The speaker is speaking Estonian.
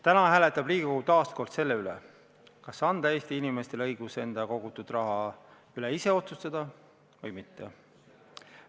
Täna hääletab Riigikogu taas kord selle üle, kas anda Eesti inimestele õigus enda kogutud raha üle ise otsustada või mitte.